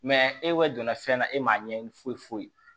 e donna fɛn na e m'a ɲɛɲini foyi foyi